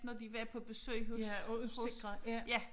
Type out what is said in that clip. Når de var på besøg hos hos ja